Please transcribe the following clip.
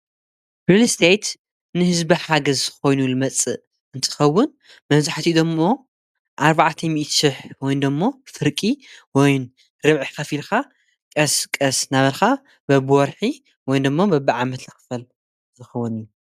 ሪልስቴት ንሕዝቢ ሓገዝ ኮይኑ ልመፅእ እንትከውን መብዝሕቲኡ ዶሞ ኣርባዓተ ሚኢቲ ሽሕ ወይ ደሞ ፍርቂ ወይ ርብዒሕ ከፊልካ ቀስ ቀስ ናበልካ በብወርሒ ወይ ደሞ በብዓመት ዝኽፈል ዝኸወን እዩ።